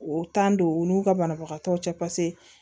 O don u n'u ka banabagatɔw cɛ paseke